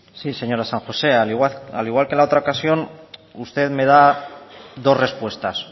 sí señora san josé al igual que la otra ocasión usted me da dos respuestas